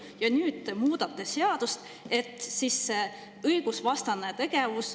Ja nüüd te muudate seadust, et kunstlikult tekitada õigusvastane tegevus.